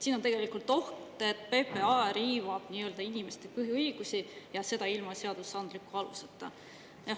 Siin on tegelikult oht, et PPA riivab nii-öelda inimeste põhiõigusi, ja seda ilma seadusandliku aluseta.